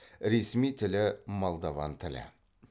ресми тілі молдован тілі